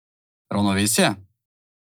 Ravnovesje?